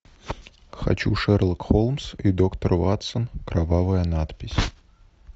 хочу шерлок холмс и доктор ватсон кровавая надпись